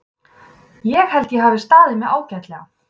Ég held að ég hafi staðið mig ágætlega.